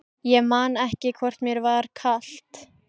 Ég man ekki hvort mér var kalt.